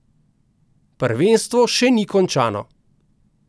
Prvenstvo še ni končano.